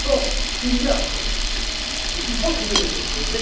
Par conséquent, je pense qu'il y a un problème et qu'il faut trouver des solutions.